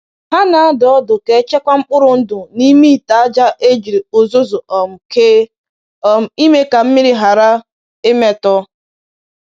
Ha na-adụ ọdụ ka e chekwaa mkpụrụ ndụ n’ime ite aja e jiri uzuzu um kee um ime ka mmiri ghara imetọ